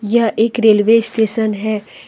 यह एक railway station है।